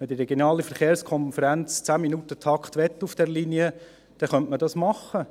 Wenn die regionale Verkehrskonferenz einen 10-Minuten-Takt auf dieser Linie möchte, dann könnte man dies machen.